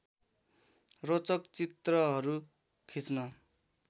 रोचक चित्रहरू खिच्न